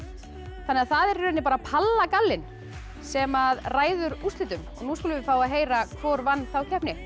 þannig að það er í rauninni bara palla gallinn sem ræður úrslitum nú skulum við fá að heyra hvor vann þá keppni